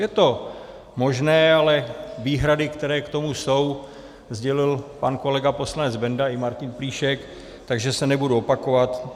Je to možné, ale výhrady, které k tomu jsou, sdělil pan kolega poslanec Benda i Martin Plíšek, takže je nebudu opakovat.